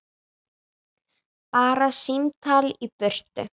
Bara símtal í burtu.